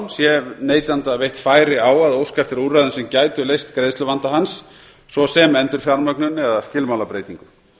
sé neytanda veitt færi á að óska eftir úrræðum sem gætu leyst greiðsluvanda hans svo sem endurfjármögnun eða skilmálabreytingu